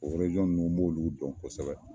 O ninnu b'olu dɔn kosɛbɛ